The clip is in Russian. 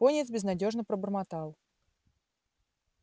пониетс безнадёжно пробормотал